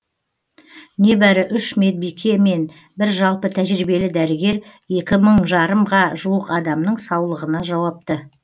небәрі үш медбике мен бір жалпы тәжірибелі дәрігер екі мың жарымға жуық адамның саулығына жауапты